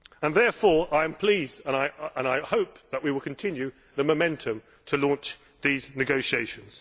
Therefore I am pleased, and I hope that we will continue the momentum to launch these negotiations.